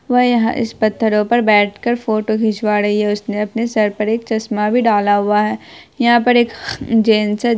बह यहाँ इस पत्थरो पर बैठ कर फोटो खिंचवा रही है उसने अपने सर पर एक चश्मा भी डाला हुआ है। यहाँ पर एक जेन्स --